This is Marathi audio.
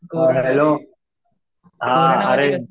हा हॅलो हा अरे,